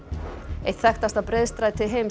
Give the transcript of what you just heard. eitt þekktasta breiðstræti heims